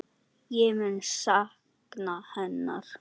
Ég mun sakna hennar.